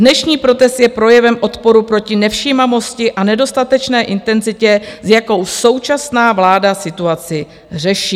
Dnešní protest je projevem odporu proti nevšímavosti a nedostatečné intenzitě, s jakou současná vláda situaci řeší.